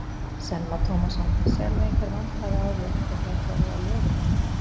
Telma Tómasson: Sérðu einhver vandkvæði á því að þetta gæti orðið að lögum?